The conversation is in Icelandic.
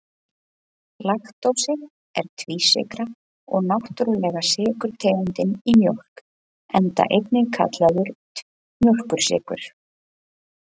Laktósi er tvísykra og náttúrulega sykurtegundin í mjólk, enda einnig kallaður mjólkursykur.